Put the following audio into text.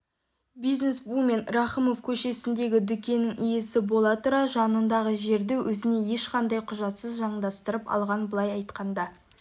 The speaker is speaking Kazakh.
бизнесвумен рахымов көшесіндегі дүкеннің иесі бола тұра жанындағы жерді өзіне ешқандай құжатсыз заңдастырып алған былай айтқанда